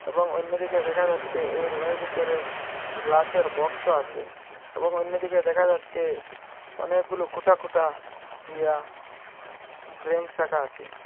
এবং অন্যদিকে দেখা যাচ্ছে এর ভিতরে গ্লাসের বক্সও আছে এবং অন্যদিকে দেখা যাচ্ছে অনেকগুলো খুটা খুটা দিয়া ব্রেঞ্চ রাখা আছে।